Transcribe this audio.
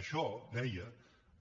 això deia